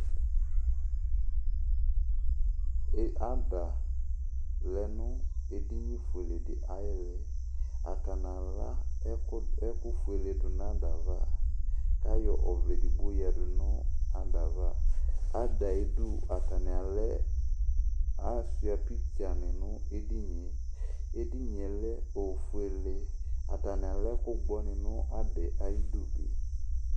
Ada lɛ nʋ edinifuele dɩ ayʋ ili Atani ala ɛkʋfuele du nʋ ada yɛ ava, kʋ ayɔ ɔvlɛ edigbo yo yǝdu nʋ ada yɛ ava Ada yɛ ayidu atani ashʋa pikitsa ni nʋ edini yɛ Edini yɛ lɛ ofuele Atani alɛ ɛkʋgbɔ ni nʋ ada yɛ ayidu bɩ